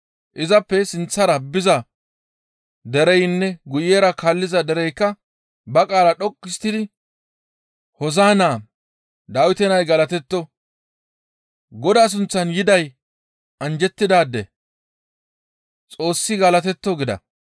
Izappe sinththara biza dereynne guyera kaalliza dereykka ba qaala dhoqqu histtidi, «Hoosa7inna! Dawite nay galatetto! Godaa sunththan yiday anjjettidaade! Xoossi galatetto!» gida.